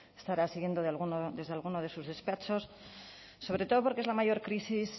estará siguiendo desde alguno de sus despachos sobre todo porque es la mayor crisis